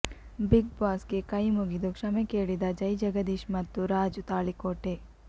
big boss ಗೆ ಕೈ ಮುಗಿದು ಕ್ಷಮೆ ಕೇಳಿದ ಜೈಜಗದೀಶ್ ಮತ್ತು ರಾಜು ತಾಳಿಕೋಟೆ